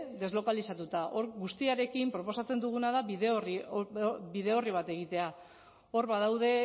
deslokalizatuta hor guztiarekin proposatzen duguna da bide orri bat egitea hor badaude